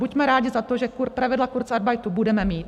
Buďme rádi za to, že pravidla kurzarbeitu budeme mít.